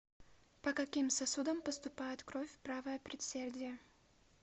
по каким сосудам поступает кровь в правое предсердие